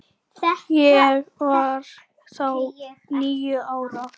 Ég var þá níu ára.